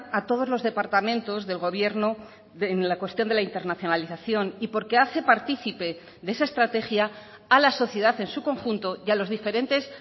a todos los departamentos del gobierno en la cuestión de la internacionalización y porque hace partícipe de esa estrategia a la sociedad en su conjunto y a los diferentes